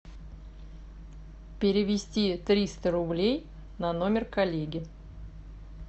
перевести триста рублей на номер коллеги